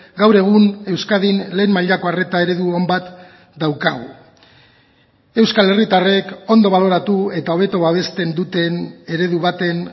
gaur egun euskadin lehen mailako arreta eredu on bat daukagu euskal herritarrek ondo baloratu eta hobeto babesten duten eredu baten